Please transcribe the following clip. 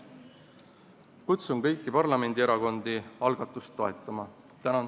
Kutsun kõiki parlamendierakondi üles algatust toetama!